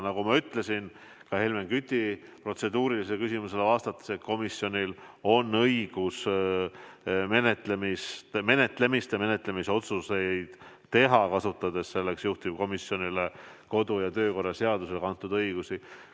Nagu ma ütlesin ka Helmen Küti protseduurilisele küsimusele vastates: komisjonil on õigus menetlemise otsuseid teha, kasutades selleks juhtivkomisjonile kodu- ja töökorra seadusega antud õigusi.